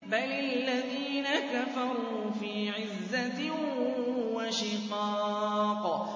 بَلِ الَّذِينَ كَفَرُوا فِي عِزَّةٍ وَشِقَاقٍ